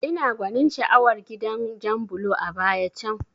Ina gwanin sha'awar gidan jan bulo a baya can